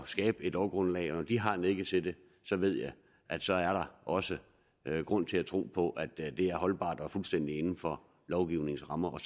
skabe et lovgrundlag og når de har nikket til det så ved jeg at så er der også grund til at tro på at det er holdbart og fuldstændig inden for lovgivningens rammer og